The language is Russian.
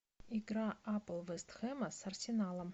игра апл вест хэма с арсеналом